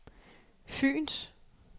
Fyens